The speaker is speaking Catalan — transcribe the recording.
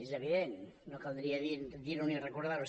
és evident no caldria dir·ho ni recordar·ho